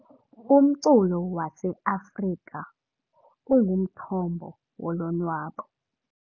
Umculo waseAfrika ungumthombo wolonwabo .